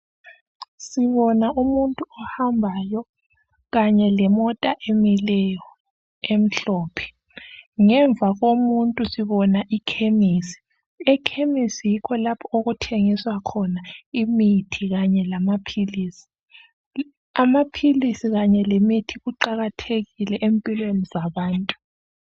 Sibona umuntu ohambayo, kanye lemota emileyo emhlophe. Ngemva kwomuntu sibona ikhemisi. Ekhemisi yikho lapho okuthengiswa khona imithi kanye lamapilisi . Amapilisi kanye lemithi kuqakathekile umphilweni zabantu.